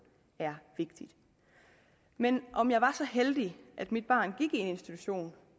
er vigtig men om jeg var så heldig at mit barn gik i en institution